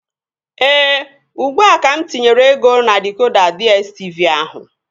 Ee, ugbua ka mụ tinyere ego na dịkoda DSTV ahụ